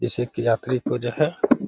जिससे कि यात्री को जो है --